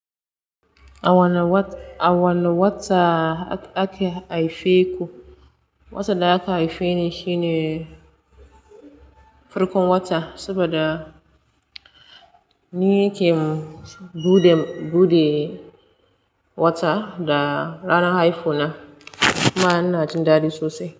A wane wata ak, ake haife ku? Wata da aka haife ni shine farkon wata, saboda ni ke buɗe, wata da ranar haifu na. Na ina jin dadi sosai.